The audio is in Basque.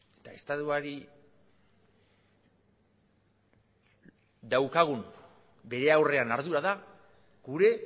eta estatuari daukagun bere aurrean ardura da gure